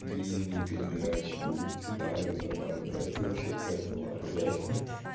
длинные передачи будет удары нормально а это вообще какая-то лажа реально